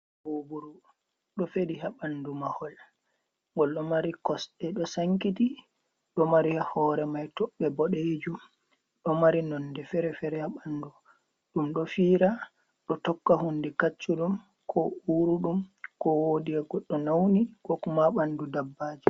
Mbuburu ɗo feɗi ha ɓandu mahol ngol ɗo mari kosɗe do sankiti. ɗo mari hore mai toɓɓe boɗejum ,ɗo mari nonde fere-fere haɓandu ɗum ɗo fiira ɗo tokka hunde kaccuɗum ko uruɗum, ko wodi ha goɗɗo nauni ko ma bandu dabbaji.